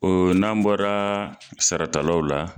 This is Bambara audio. n'an bɔra sarata law la.